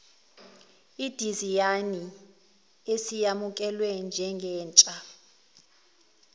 idizayini isiyamukelwe njengentsha